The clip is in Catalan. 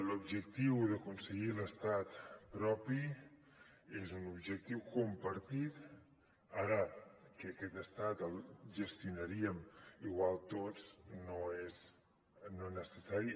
l’objectiu d’aconseguir l’estat propi és un objectiu compartit ara que aquest estat el gestionaríem igual tots no és necessari